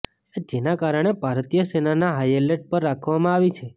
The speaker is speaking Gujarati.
જેના કારણે ભારતીય સેનાને હાઇએલર્ટ પર રાખવામાં આવી છે